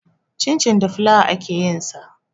Cincin da fulawa ake yin sa.